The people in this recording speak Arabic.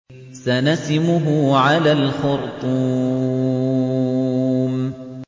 سَنَسِمُهُ عَلَى الْخُرْطُومِ